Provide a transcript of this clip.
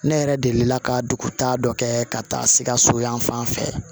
Ne yɛrɛ delila ka duguta dɔ kɛ ka taa sikaso yan fan fɛ